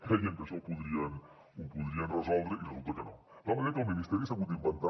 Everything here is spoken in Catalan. creien que això ho podrien resoldre i resulta que no de tal manera que el ministeri s’ha hagut d’inventar